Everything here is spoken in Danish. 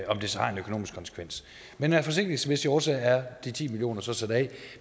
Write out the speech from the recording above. om det så har en økonomisk konsekvens men af forsigtighedsmæssige årsager er de ti million kroner så sat af